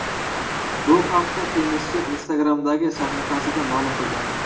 Bu haqda tennischi Instagram’dagi sahifasida ma’lum qilgan .